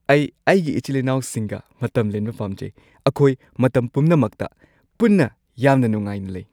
ꯑꯩ ꯑꯩꯒꯤ ꯏꯆꯤꯜ-ꯏꯅꯥꯎꯁꯤꯡꯒ ꯃꯇꯝ ꯂꯦꯟꯕ ꯄꯥꯝꯖꯩ꯫ ꯑꯩꯈꯣꯏ ꯃꯇꯝ ꯄꯨꯝꯅꯃꯛꯇ ꯄꯨꯟꯅ ꯌꯥꯝꯅ ꯅꯨꯡꯉꯥꯏꯅ ꯂꯩ꯫